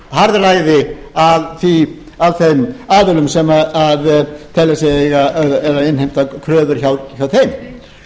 harðræði af þeim aðilum sem telja sig eiga að innheimta kröfur hjá þeim